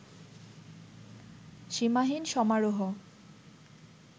সীমাহীন সমারোহ